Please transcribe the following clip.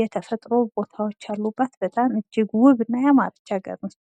የተፈጥሮ ቦታዎች ያሉባት በጣም እጅግ ውብና ያማረች አገር ናት።